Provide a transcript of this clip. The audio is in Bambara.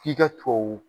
F'i ka tuwawu